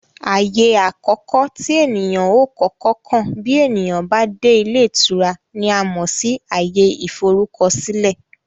Ààyè àkọ́kọ́ tí èniyàn ó kọ́kọ́ kàn bí ènìyàn bá dé ilé ìtura ni a mọ̀ sí ààyè ìforúkọsílẹ̀